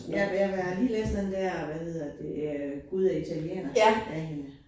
Ja, men jeg har lige læst den dér hvad hedder det øh Gud og italienere af hende